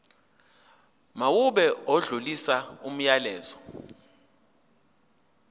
mawube odlulisa umyalezo